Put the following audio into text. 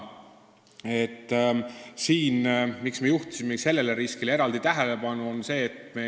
Miks me juhtisime sellele riskile eraldi tähelepanu?